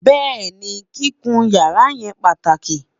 béèni, kíkún yàrá yen pàtàkì